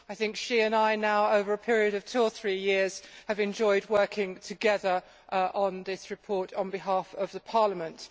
I think she and I now, over a period of two or three years, have enjoyed working together on this report on behalf of Parliament.